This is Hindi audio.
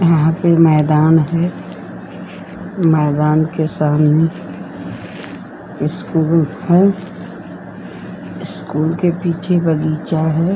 यहां पे मैदान है। मैदान के सामने स्कूल है। स्कूल के पीछे बगीचा है।